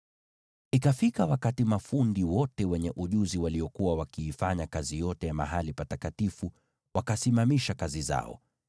Ikafika wakati mafundi wote wenye ujuzi waliokuwa wakiifanya kazi yote ya mahali patakatifu wakasimamisha kazi zao,